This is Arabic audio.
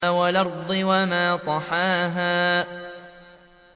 وَالْأَرْضِ وَمَا طَحَاهَا